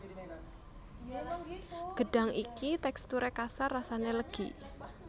Gêdhang iki téksturé kasar rasané lêgi